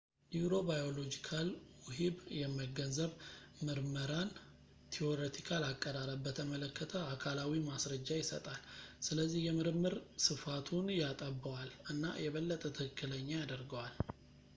ኒውሮባዮሎጂካል ውሂብ የመገንዘብ ምርመራን ቲዎሬቲካል አቀራረብ በተመለከተ አካላዊ ማስረጃ ይሰጣል ስለዚህ የምርምር ስፋቱን ያጠበዋል እና የበለጠ ትክክለኛ ያደርገዋል